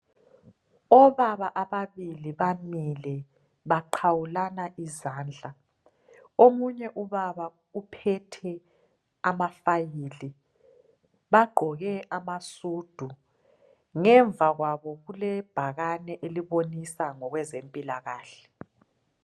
Obaba ababili bamile baqawulana izandla. Omunye ubaba uphethe amafayili bagqoke amasudu. Ngemuva kwabo kulebhakane elibonisa ngezempilakahle.